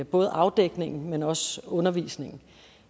både afdækningen men også undervisningen